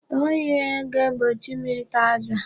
O nweghị ihe ga-egbochi m ịta azụ a.